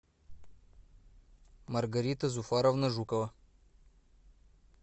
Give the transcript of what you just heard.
маргарита зуфаровна жукова